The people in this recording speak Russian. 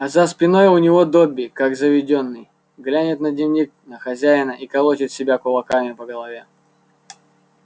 а за спиной у него добби как заведённый глянет на дневник на хозяина и колотит себя кулаками по голове